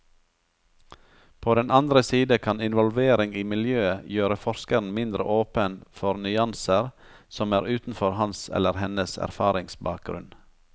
På den andre side kan involvering i miljøet gjøre forskeren mindre åpen for nyanser som er utenfor hans eller hennes erfaringsbakgrunn.